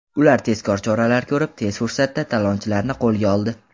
Ular tezkor choralar ko‘rib, tez fursatda talonchilarni qo‘lga oldi.